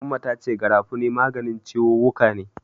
Umma ta ce Garafuni maganin ciwuwwuka ne.